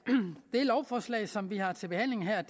det lovforslag som vi har til behandling her er